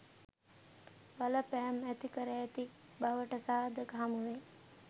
බලපෑම් ඇතිකර ඇති බවට සාධක හමුවේ.